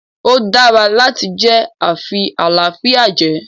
ó dára láti jẹ afi-àlàáfíà-jẹ.